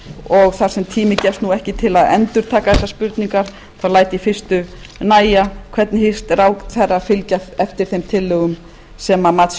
og þar sem tími gefst nú ekki til að endurtaka þessar spurningar þá læt ég fyrstu nægja hvernig hyggst ráðherra fylgja eftir þeim tillögum sem mats